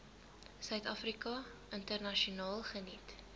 suidafrika internasionaal geniet